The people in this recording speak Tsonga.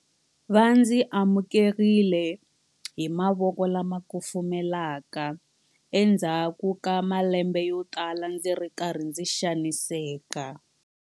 Va ndzi amukerile hi mavoko lama kufumelaka endzhaku ka malembe yotala ndzi ri karhi ndzi xaniseka.